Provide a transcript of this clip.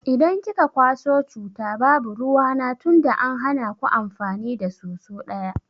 Idan kika kwaso cuta babu ruwana tunda an hana ku amfani da soso daya.